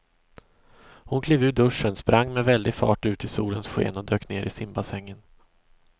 Hon klev ur duschen, sprang med väldig fart ut i solens sken och dök ner i simbassängen.